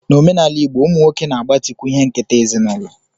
N'omenala igbo, ụmụ nwoke na-agbatịkwu ihe nketa ezinụlọ